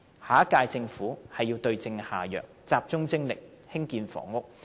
下一屆政府必須對症下藥，集中精力興建房屋。